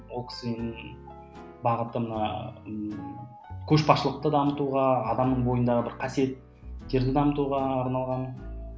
ол кісі енді бағыты мына ммм көшбасшылықты дамытуға адамның бойындағы бір қасиеттерді дамытуға арналған